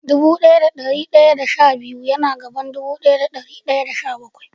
Dubu daya da dari daya da sha shida ya na bayan dubu daya da dari daya da sha-bakwai.